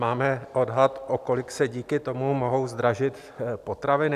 Máme odhad, o kolik se díky tomu mohou zdražit potraviny?